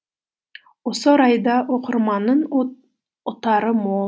осы орайда оқырманның ұтары мол